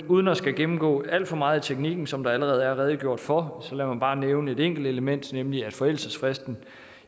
uden at skulle gennemgå alt for meget af teknikken som der allerede er redegjort for så lad mig bare nævne et enkelt element nemlig at forældelsesfristen